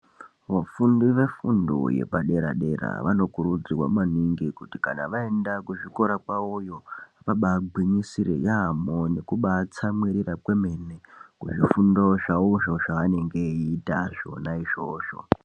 Vafundi vefundo yepadera dera vanokurudzirwa maningi kuti kana vaenda kuzvikora kwavoyo vabagwinyisire yambo nekutsamwirira kwemene kuzvifundo zvawozvo zvaanenge eiita zvona izvozvo.